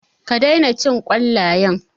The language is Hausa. Ka daina cin ƙwallayen.